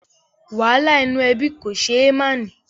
Wàhálà inú ẹbí kò ṣé é máà ní